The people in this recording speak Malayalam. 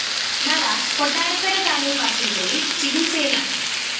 നവാസ് കൊട്ടാരക്കര താലൂക്ക് ആശുപത്രിയില്‍ ചികിത്സയിലാണ്